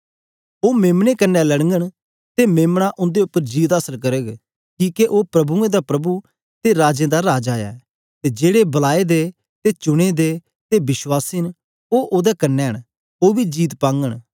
ओ मेम्ने कन्ने लड़घंन ते मेम्ना उंदे उपर जीत आसल करग किके ओ प्रभुएं दा प्रभु ते राजें दा राजा ऐ ते जेड़े बलाए दे ते चुने दे ते विश्वासी न ओ ओदे कन्ने न ओ बी जीत पाघंन